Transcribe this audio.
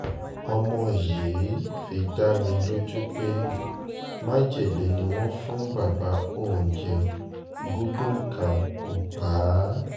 ọmọ yìí fi dá mi lójú pé májèlé ni wọ́n fún bàbá òun jẹ́ gúngún kankan kó pa á